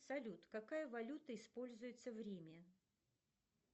салют какая валюта используется в риме